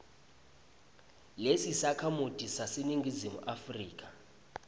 lelisakhamuti saseningizimu afrika